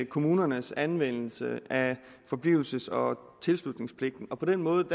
kommunernes anvendelse af forblivelses og tilslutningspligten og på den måde